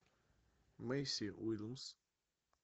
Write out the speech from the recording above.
мэйси уильямс